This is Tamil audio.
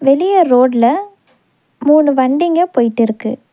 வெளிய ரோட்ல மூணு வண்டிங்க போயிட்டுருக்கு.